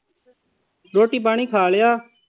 ਰੋਟੀ ਪਾਣੀ ਖਾ ਲਿਆ।